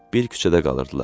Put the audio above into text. Bir küçədə qalırdılar.